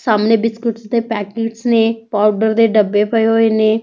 ਸਾਹਮਣੇ ਬਿਸਕੁਟ ਦੇ ਪੈਕੇਟ ਨੇ ਪਾਊਡਰ ਦੇ ਡੱਬੇ ਪਏ ਹੋਏ ਨੇ --